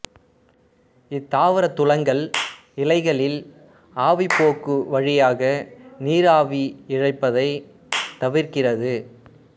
இத்தாவரத் துலங்கல் இலைகளில் ஆவிப்போக்கு வழியாக நீர் ஆவியாகி இழப்பதைத் தவிர்க்கிறது